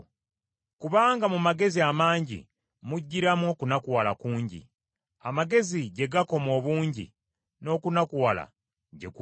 Kubanga mu magezi amangi mujjiramu okunakuwala kungi; amagezi gye gakoma obungi, n’okunakuwala gye gukoma.